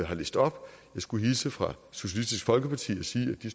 har læst op jeg skulle hilse fra socialistisk folkeparti og sige at de